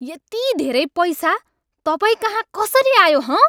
यति धेरै पैसा तपाईँकहाँ कसरी आयो हँ?